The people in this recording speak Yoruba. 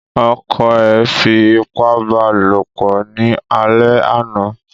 Ọkọ̀ ẹ fi ipá ba lopọ̀ ni àlè àná